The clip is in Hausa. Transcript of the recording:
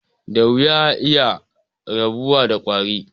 Da wuya a iya rabuwa da ƙwari.